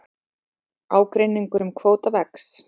Ágreiningur um kvóta vex